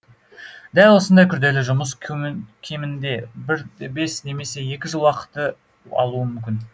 дәл осындай күрделі жұмыс көмім кемінде бір де бес немесе екі жыл уақытты алуы мүмкін